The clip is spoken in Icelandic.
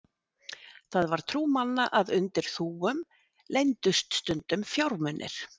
það var trú manna að undir þúfum leyndust stundum fjármunir